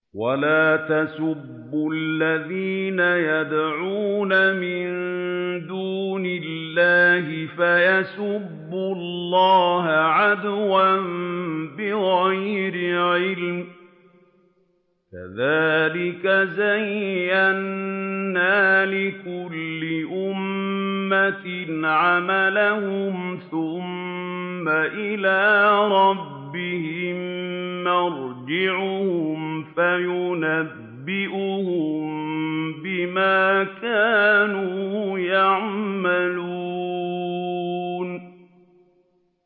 وَلَا تَسُبُّوا الَّذِينَ يَدْعُونَ مِن دُونِ اللَّهِ فَيَسُبُّوا اللَّهَ عَدْوًا بِغَيْرِ عِلْمٍ ۗ كَذَٰلِكَ زَيَّنَّا لِكُلِّ أُمَّةٍ عَمَلَهُمْ ثُمَّ إِلَىٰ رَبِّهِم مَّرْجِعُهُمْ فَيُنَبِّئُهُم بِمَا كَانُوا يَعْمَلُونَ